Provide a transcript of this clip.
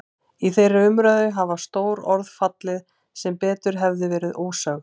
Í þeirri umræðu hafa stór orð fallið sem betur hefðu verið ósögð.